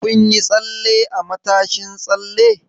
Kun yi tsalle a matashin tsalle?